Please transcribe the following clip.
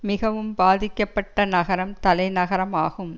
மிகவும் பாதிக்கப்பட்ட நகரம் தலைநகரமாகும்